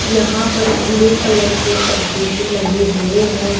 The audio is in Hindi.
यहां पर ब्लू कलर के पर्दे भी लगे हुए हैं।